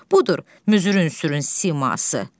Budur, müzürün sürün siması.